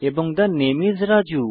the নামে IS Raju